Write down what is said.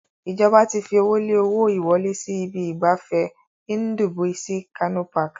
Ìjọba ti fi owó lé owó ìwọlé sí ibi ìgbafẹ́ Ndubuisi Kanu Park.